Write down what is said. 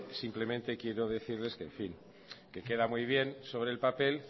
simplemente quiero decirles que en fin que queda muy bien sobre el papel